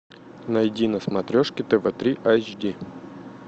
найди на смотрешке тв три айч ди